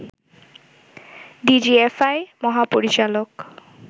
DGFI মহাপরিচালক